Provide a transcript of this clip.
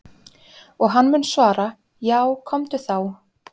Og hann mun svara: Já komdu þá.